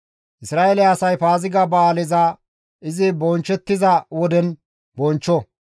«Isra7eele asay Paaziga ba7aaleza izi bonchchettiza woden bonchcho;